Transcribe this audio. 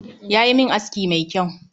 Yayi min aski mai kyau